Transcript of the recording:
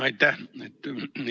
Aitäh!